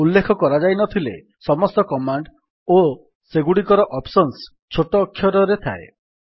ଉଲ୍ଲେଖ କରାଯାଇନଥିଲେ ସମସ୍ତ କମାଣ୍ଡ୍ ଓ ସେଗୁଡିକର ଅପ୍ସନ୍ସ ଛୋଟ ଅକ୍ଷରରେ ଥାଏ